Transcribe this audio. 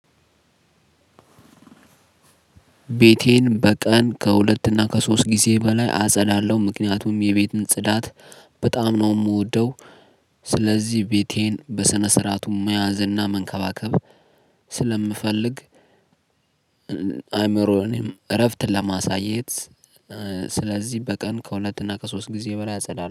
ቤቴን በቀን ከሁለት እና ከሶስት ጊዜ በላይ አጸዳለሁ። ምክንያቱም የቤትን ጽዳት በጣም ነው የምወደው። ስለዚህ ቤቴን በስነ ስርዓቱ መያዝ እና መንከባከብ ስለምፈልግ- አይምሮ እኔም እረፍት ለማሳየት ስለዚህ በቀን ከሁለት እና ከሶስት ጊዜ በላይ አጸዳለሁ።